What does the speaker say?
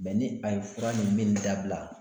Mɛ ni a ye fura nin minni dabila